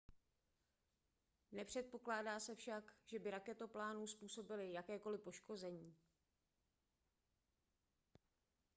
nepředpokládá se však že by raketoplánu způsobily jakékoliv poškození